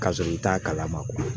K'a sɔrɔ i t'a kalama